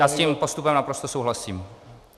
Já s tím postupem naprosto souhlasím.